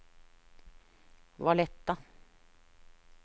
Valletta